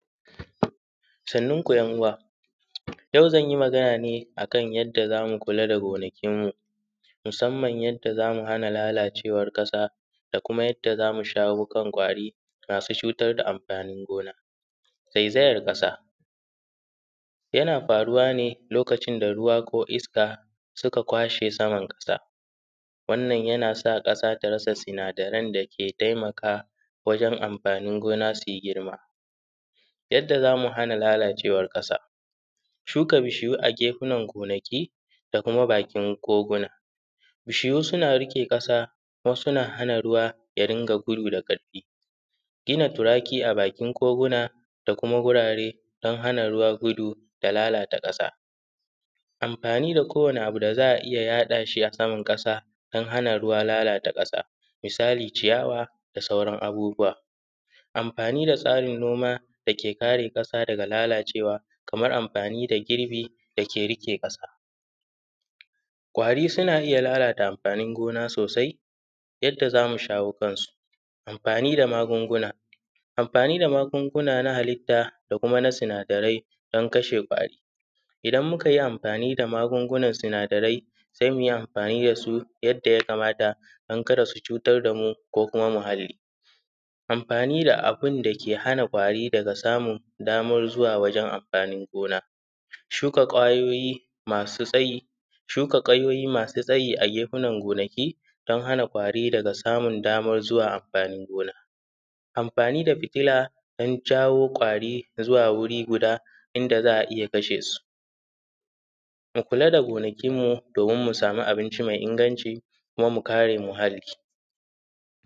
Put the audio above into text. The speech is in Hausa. Sannanin ku ‘yan uwa, yau zan yi magana ne kan yadda za mu kula da gpnakinmu musamman yadda za mu hana lalacewan ƙasa da kuma yadda za mu shawo kan kwari masu cutar da amfanin gona. Zaizayar ƙasa yana faruwa ne lokacin da ruwa ko iska suka kwashe saman ƙasa, wannan yana sa ƙasa su rasa sinadaran da ze taimaka wajen amfanin gona su yi girma. Yadda za mu hana lalacewan ƙasa, shuka bishiyu a gefunan gonaki da kuma bakin koguna, bishiyu suna riƙe ƙasa wasu na hana ruwa ya dinga gudu da ƙarfi, gina turaki a bakin koguna da kua gurare don hana ruwa gudu da lalata ƙasa. Amfani da ko wani abu da za ya haɗa shi a saman ƙasa don hana ruwa lalata ƙasa misali ciyawa da sauran abubuwa, amfani da tsarin noma da ke kare ƙasa daga lalacewa kaman amfani da girbi da ke riƙe ƙasa. Kwari suna iya lalata amfanin gona sosai, yadda za mu shawo kansu amfani da magunguna, amfani da magunguna na halitta da kuma na sinadarai dan kashe kwari, idan muka yi amfani da magungunan sinadarai se mu yi amfani da su yadda ya kamata dan kada su cutar da mu ko kuma muhali. Amfani da abun da ke hana kwari daga samun daman zuwa wajen anfanin gona, shuka kwayoyi masu tsayi, shuka ganyaki masu tsayi a gefunan gonaki don hana kwari daga samun daman zuwa amfani gona. Anfani da fitila don jawo kwari da zuwa wuri guda inda za a iya kashe su, mu kula da gonakinmu domin mu samu abinci me inganci kuma mu kare muhalli.